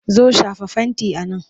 Zo! shafa fenti a nan!